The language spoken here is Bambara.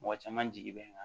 Mɔgɔ caman jigi bɛ n kan